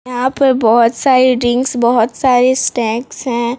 यहाँ पर बहोत सारी ड्रिंक्स बाहोत सारे स्नैक्स हैं।